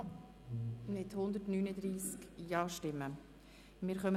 Sie haben die Ziffer 1 mit 139 Ja-Stimmen angenommen.